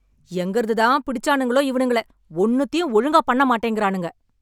எங்கிருந்து தான் பிடிச்சானுங்களோ இவனுங்கள. ஒன்னுத்தையும் ஒழுங்காப் பண்ண மாட்டேங்குறானுங்க.